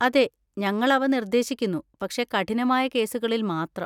അതെ, ഞങ്ങൾ അവ നിർദ്ദേശിക്കുന്നു, പക്ഷേ കഠിനമായ കേസുകളിൽ മാത്രം.